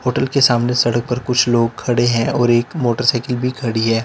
Hotel के सामने सड़क पर कुछ लोग खड़े हैं और एक मोटरसाइकिल भी खड़ी है।